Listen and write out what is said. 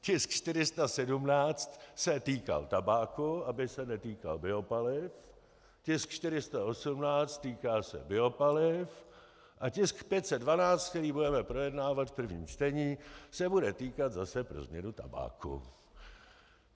Tisk 417 se týkal tabáku, aby se netýkal biopaliv, tisk 418 se týká biopaliv a tisk 512, který budeme projednávat v prvním čtení, se bude týkat zase pro změnu tabáku.